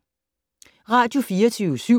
Radio24syv